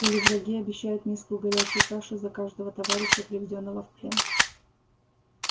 или враги обещают миску горячей каши за каждого товарища приведённого в плен